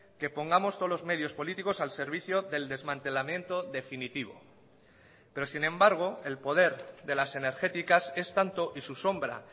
que pongamos todos los medios políticos al servicio del desmantelamiento definitivo pero sin embargo el poder de las energéticas es tanto y su sombra